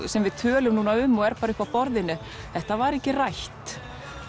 sem við tölum núna um og er bara uppi á borðinu þetta var ekki rætt